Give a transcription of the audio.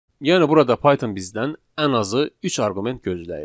Yəni burada Python bizdən ən azı üç arqument gözləyir.